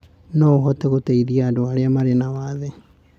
No ũhote gũteithia andũ arĩa marĩ na wathe.